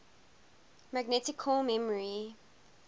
magnetic core memory